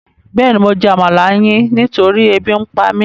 Béèni mo jẹ́ àmalà yin nitori ébi ǹpa mi